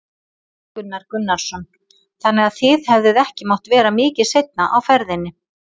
Gunnar Gunnarsson: Þannig að þið hefðuð ekki mátt vera mikið seinna á ferðinni?